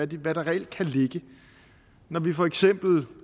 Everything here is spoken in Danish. hvad der reelt kan ligge i dem når vi for eksempel